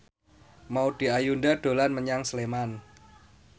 Maudy Ayunda dolan menyang Sleman